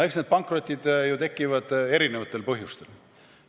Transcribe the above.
No eks need pankrotid tekivad erinevatel põhjustel.